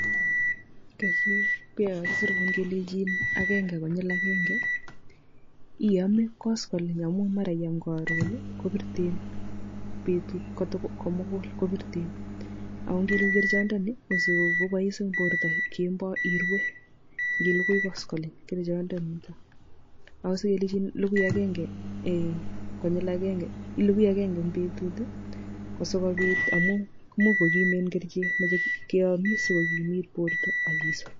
koyoo kakisirun kelejin agenge konyil agenge iome koskoliny amu mara iam karon[ii] kobirten betut komugul kobirten akongele kerchondoni kosiko kobois eng borto kemboi irue ngilugui koskoliny kerchondonitok agose kelenjin lugui agenge konyil agenge ilugui agenge eng betut[ii] kosokobit amu imuch kokimen kerchek meche keamis siko kimiit borto akisop.